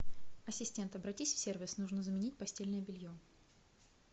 ассистент обратись в сервис нужно заменить постельное белье